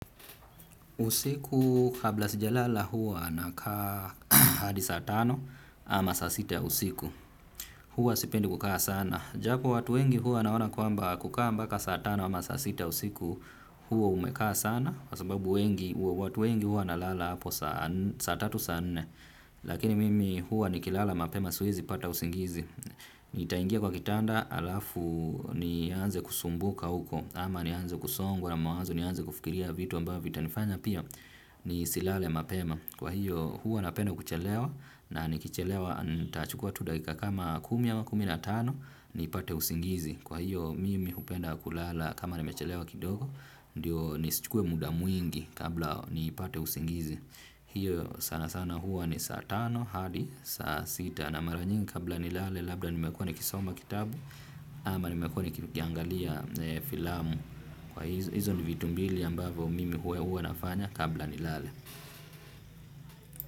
Usiku kabla sijalala huwa nakaa hadi saa tano ama saa sita ya usiku. Huwa sipendi kukaa sana. Japo watu wengi huwa wanaona kwamba kukaa mpaka saa tano ama saa sita usiku huwa umekaa sana. Kwa sababu wengi, watu wengi huwa wanalala hapo saa tatu saa nne. Lakini mimi huwa nikilala mapema siwezi pata usingizi. Nitaingia kwa kitanda alafu nianze kusumbuka huko. Ama nianze kusongwa na mawazo nianze kufikiria vitu ambavyo vitanifanya pia. Nisilale mapema kwa hiyo hua napenda kuchelewa na nikichelewa ntachukua tu dakika kama kumi ama kumi na tano nipate usingizi kwa hiyo mimi hupenda kulala kama nimechelewa kidogo ndiyo nisichukue muda mwingi kabla niipate usingizi. Hiyo sana sana huwa ni saa tano, hadi, saa sita na mara nyingi kabla nilale. Labda nimekuwa nikisoma kitabu ama nimekuwa nikiangalia filamu. Kwa hizo ni vitu mbili ambavyo mimi huwa nafanya kabla nilale.